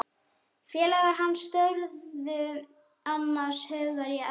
Félagar hans störðu annars hugar í eldinn.